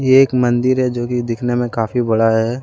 ये एक मंदिर है जो की दिखने में काफी बड़ा है।